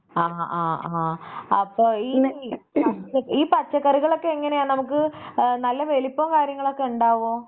ആഹ് ആഹ് ആഹ് അപ്പൊ ഈ ഈ പച്ചക്കറികളൊക്കെ എങ്ങനെയാ നമുക്ക് ആഹ് നല്ല വലിപ്പോ കാര്യങ്ങളൊക്കെ ഉണ്ടാകുമോ?